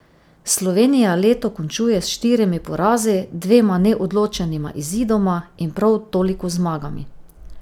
Slovenija leto končuje s štirimi porazi, dvema neodločenima izidoma in prav toliko zmagami.